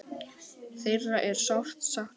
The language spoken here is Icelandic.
Þeirra er sárt saknað.